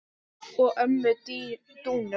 og ömmu Dúnu.